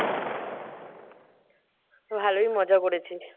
ভালোই মজা করেছিস?